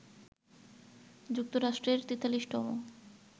যুক্তরাষ্ট্রের ৪৩তম